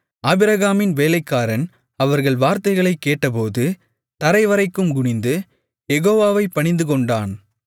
ஆபிரகாமின் வேலைக்காரன் அவர்கள் வார்த்தைகளைக் கேட்டபோது தரைவரைக்கும் குனிந்து யெகோவாவைப் பணிந்துகொண்டான்